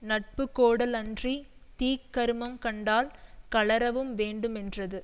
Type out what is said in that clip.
நட்புக்கோடலன்றித் தீக்கருமங்கண்டால் கழறவும்வேண்டுமென்றது